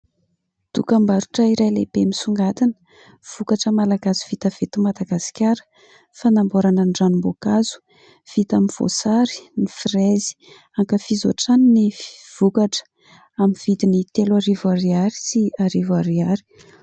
Dokam-barotra iray lehibe misongadina. Vokatra Malagasy vita avy eto Madagasikara. Fanamboarana ny ranom-boankazo vita amin'ny voasary, ny frezy. Ankafizo hatrany ny vokatra amin'ny vidiny telo arivo ariary sy arivo ariary.